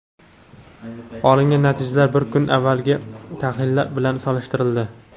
Olingan natijalar bir kun avvalgi tahlillar bilan solishtirildi.